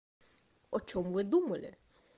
о чём вы думали